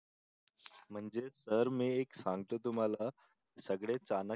म्हणजे सर मी एक सांगतो तुम्हाला सगळेच चाणक्य,